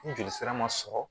Ni joli sira man sɔrɔ